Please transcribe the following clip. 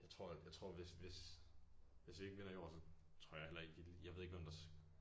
Jeg tror at jeg tror hvis hvis hvis vi ikke vinder i år så tror jeg heller ikke jeg lige jeg ved ikke hvem der skulle